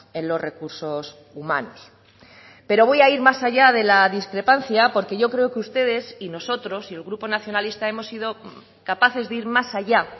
en los recursos humanos pero voy a ir más allá de la discrepancia porque yo creo que ustedes y nosotros y el grupo nacionalista hemos sido capaces de ir más allá